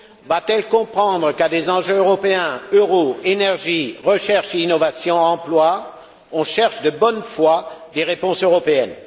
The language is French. Va t elle comprendre qu'à des enjeux européens euro, énergie, recherche et innovation, emploi on cherche de bonne foi des réponses européennes?